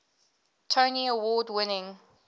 tony award winning